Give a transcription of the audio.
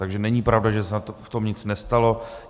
Takže není pravda, že se v tom nic nestalo.